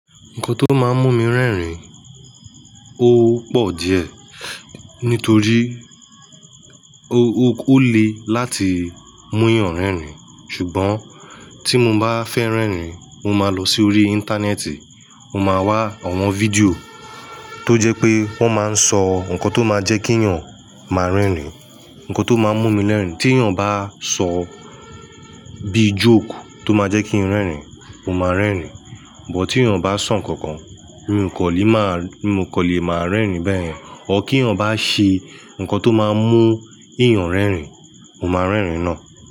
Nǹkan tó máa ń mú mi rẹ́rìn-ín ò pọ̀ díẹ̀. Nítorí ó lè láti mú èèyàn rẹ́rìn-ín. Ṣùgbọ́n tí mo bá fẹ́ rẹ́rìn-ín, mo máa lọ sí orí Íńtánẹ́ẹ̀tì, mo máa wá àwọn fídíò tó jẹ́ pé wọ́n máa ń sọ ǹkan tó máa ń jẹ́ kí èèyàn máa rẹ́rìn-ín. Ǹkan tó máa ń mú mi rẹ́rìn-ín, tí èèyàn bá sọ bíi jóke tó máa jẹ́ kí n rẹ́rìn-ín, mo máa rẹ́rìn-ín. But tí èèyàn bá sọ ǹkankan mi kò lè máa, mi kò lè máa rẹ́rìn-ín bẹ́ẹ̀. Ọ̀r kí ẹ̀yin bá ṣe ǹkan tó máa ń mú èèyàn rẹ́rìn-ín, mo máa rẹ́rìn-ín náà.